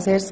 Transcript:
Vorab ganz